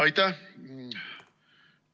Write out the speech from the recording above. Aitäh!